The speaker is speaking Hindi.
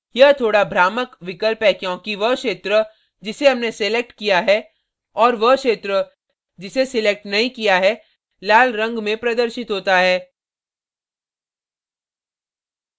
यह थोड़ा भ्रामक विकल्प है क्योंकि वह क्षेत्र जिसे हमने selected किया है और वह क्षेत्र जिसे selected नहीं किया है लाल रंग में प्रदर्शित होता है